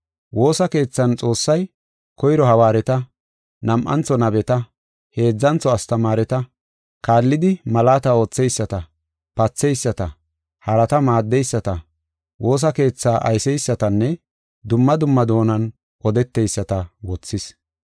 Woosa keethan Xoossay, koyro hawaareta, nam7antho nabeta, heedzantho astamaareta, kaallidi malaata ootheyisata, patheyisata, harata maaddeyisata, woosa keetha ayseysatanne, dumma dumma doonan odeteyisata wothis.